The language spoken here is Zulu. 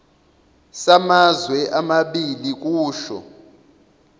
samazwe amabili kusho